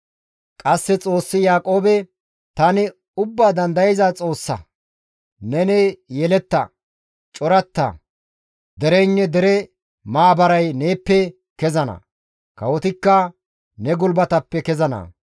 Qasse Xoossi Yaaqoobe, «Tani Ubbaa Dandayza Xoossa; neni yeletta; coratta; dereynne dere maabaray neeppe kezana; kawotikka ne gulbateppe kezana.